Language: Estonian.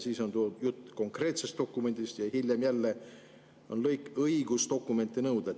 Siis on jutt konkreetsest dokumendist, aga hiljem jälle on lõik, kus on "õigus dokumenti nõuda".